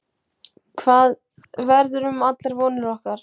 Hvað verður um allar vonir okkar?